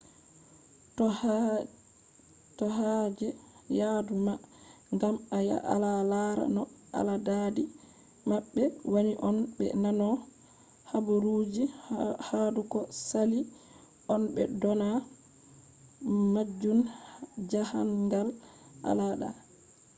to haje yadu ma gam a ya a lara no aladadi mabbe wani on be nano habaruji hadou ko sali on be do dona majun jahangal al’ada